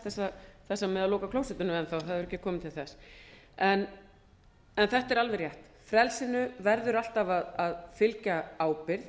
þessa með að loka klósettinu enn það hefur ekki komið til þess en þetta er alveg rétt frelsinu verður alltaf að fylgja ábyrgð